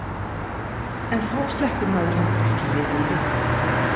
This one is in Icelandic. En þá sleppur maður heldur ekki lifandi.